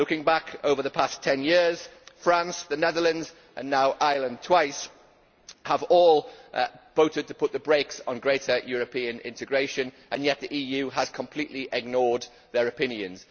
Looking back over the past 10 years, France, the Netherlands and now Ireland twice have all voted to put the brakes on greater European integration, and yet the EU has completely ignored their opinions.